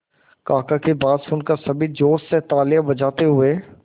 काका की बात सुनकर सभी जोश में तालियां बजाते हुए